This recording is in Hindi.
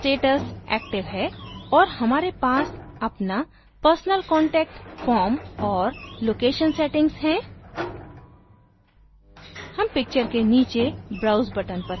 मेरा status active है और हमारे पास अपना personal contact form और location settings है